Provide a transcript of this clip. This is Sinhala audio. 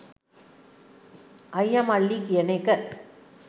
අයිය මල්ලි කියන එක